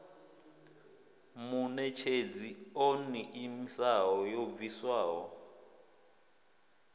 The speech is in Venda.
muṋetshedzi o ḓiimisaho yo bviswaho